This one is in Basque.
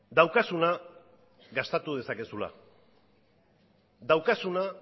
daukazuna gastatu dezakezula daukazuna